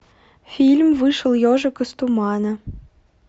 фильм вышел ежик из тумана